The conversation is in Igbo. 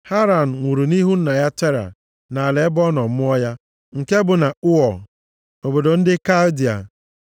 Haran nwụrụ nʼihu nna ya Tera nʼala ebe a nọ mụọ ya, nke bụ na Ụọ, obodo ndị Kaldịa.